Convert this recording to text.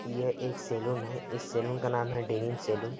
यह एक सैलून है इस सैलून का नाम है डेविंग सैलून ।